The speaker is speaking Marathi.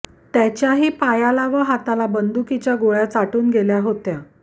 त्याच्याही पायाला व हाताला बंदुकीच्या गोळ्या चाटून गेल्या होत्या